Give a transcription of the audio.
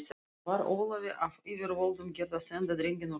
Var Ólafi af yfirvöldum gert að senda drenginn úr landi.